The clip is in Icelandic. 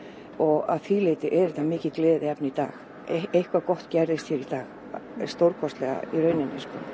og að því leyti er þetta mikið gleðiefni í dag eitthvað gott gerðist hér í dag stórkostlega í rauninni